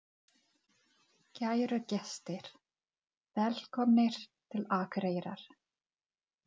Kæru gestir! Velkomnir til Akureyrar.